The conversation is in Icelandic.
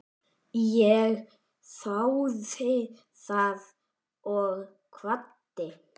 Ég þáði það og kvaddi.